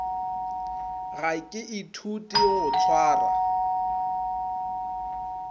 ga ke ithute go tšwara